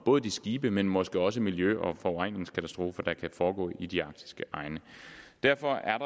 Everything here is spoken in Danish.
skibe men måske også miljø og forureningskatastrofer der kan foregå i de arktiske egne derfor er